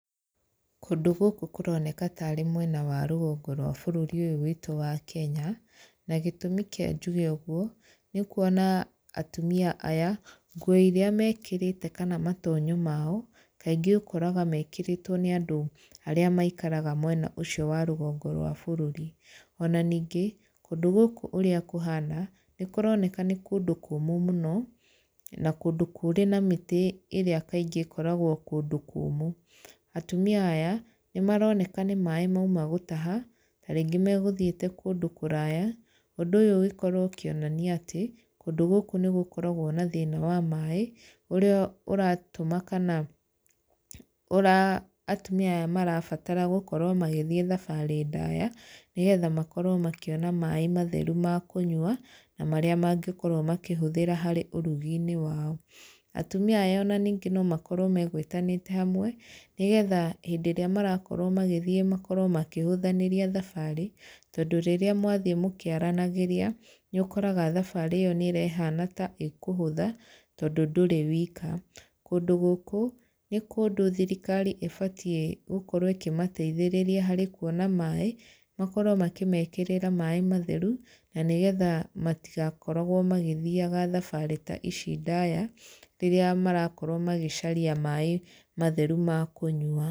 Kũndũ gũkũ kũroneka tarĩ mwena wa rũgongo rwa bũrũri ũyũ witũ wa Kenya, na gĩtũmi kĩa njuge ũguo, nĩ kuona atumia aya, nguo irĩa mekĩrĩte kana matonyo mao, kaingĩ ũkoraga mekĩrĩtwo nĩ andũ arĩa maikaraga mwena ũcio wa rũgongo rwa bũrũri. Ona ningĩ, kũndũ gũkũ ũrĩa kũhana, nĩ kũroneka nĩ kũndũ kũmũ mũno, na kũndũ kũrĩ na mĩtĩ ĩrĩa kaingĩ ĩkoragwo kũndũ kũmũ. Atumia aya, nĩ maroneka nĩ maaĩ mauma gũtaha, tarĩngĩ megũthiĩte kũndũ kũraaya. Ũndũ ũyũ ũgĩkorwo ũkĩonania atĩ, kũndũ gũkũ nĩ gũkoragwo na thĩna wa maaĩ, ũrĩa ũratũma kana atumia aya marabatara gũkorwo magĩthiĩ thabarĩ ndaaya, nĩgetha makorwo makĩona maaĩ matheru ma kũnyua, na marĩa mangĩkorwo makĩhũthĩra harĩ ũrugi-inĩ wao. Atumia aya ona ningĩ no makorwo megwĩtanĩte hamwe, nĩgetha hĩndĩ ĩrĩa marakorwo magĩthiĩ makorwo makĩhũthanĩria thabarĩ, tondũ rĩrĩa mwathiĩ mũkĩaranagĩria, nĩ ũkoraga thabarĩ ĩyo nĩ ĩrahana ta ĩkũhũtha, tondũ ndũrĩ wika. Kũndũ gũkũ, nĩ kũndũ thirikari ĩbatiĩ gũkorwo ĩkĩmateithĩrĩria harĩ kuona maaĩ, makorwo makĩmekĩrĩra maaĩ matheru, na nĩgetha matigakoragwo magĩthiaga thabarĩ ta ici ndaaya, rĩrĩa marakorwo magĩcaria maaĩ matheru ma kũnyua.